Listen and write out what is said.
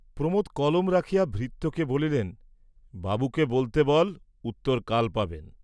প্রমোদ কলম রাখিয়া ভৃত্যকে বলিলেন বাবুকে বলতে বল, উত্তর কাল পাবেন।